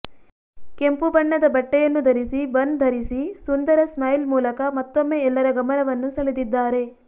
ಕೆಂಪು ಬಣ್ಣದ ಬಟ್ಟೆಯನ್ನು ಧರಿಸಿ ಬನ್ ಧರಿಸಿ ಸುಂದರ ಸ್ಮೈಲ್ ಮೂಲಕ ಮತ್ತೊಮ್ಮೆ ಎಲ್ಲರ ಗಮನವನ್ನು ಸೆಳೆದಿದ್ದಾರೆ